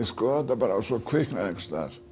skoða þetta og svo kviknar eitthvað